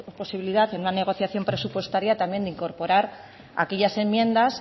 posibilidad en una negociación presupuestaria también de incorporar aquellas enmiendas